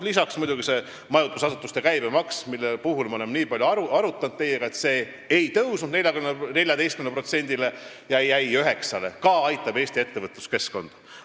Lisaks muidugi see majutusasutuste käibemaks, mida me oleme teiega nii palju arutanud – see ei tõusnud 14%-le, vaid jäi 9%-le, mis aitab ka Eesti ettevõtluskeskkonda.